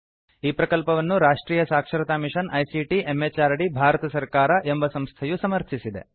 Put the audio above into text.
ಈ ಪ್ರಕಲ್ಪವನ್ನು ರಾಷ್ಟ್ರಿಯ ಸಾಕ್ಷರತಾ ಮಿಷನ್ ಐಸಿಟಿ ಎಂಎಚಆರ್ಡಿ ಭಾರತ ಸರ್ಕಾರ ಎಂಬ ಸಂಸ್ಥೆಯು ಸಮರ್ಥಿಸಿದೆ